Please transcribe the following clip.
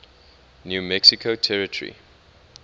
new mexico territory